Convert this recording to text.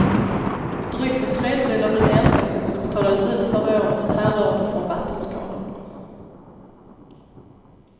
Drygt en tredjedel av den ersättning som betalades ut förra året härrörde från vattenskador.